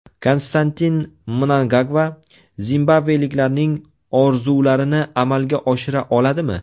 Konstantin Mnangagva zimbabveliklarning orzularini amalga oshira oladimi?